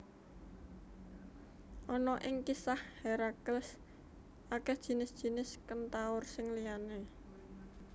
Ana ing kisah Herakles akeh jinis jinis kentaur sing liyané